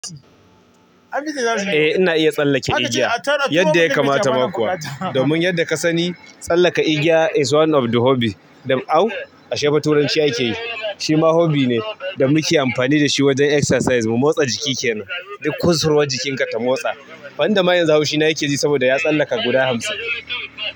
Eh ina iya tsallake igiya yadda ya kamata ma kuwa. Domin yadda ka sani, tsallaka igiya is one of the hobby. Au ashe fa turanci akeyi shima hobby ne da muke amfani da shi wajen exercise. Mu motsa jiki kenan. Duk kusurwar jikinka ta motsa. Wanda ma yanzu haushina yake ji saboda ya tsallaka guda hamsin.